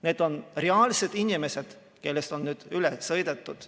Need on reaalsed inimesed, kellest on üle sõidetud.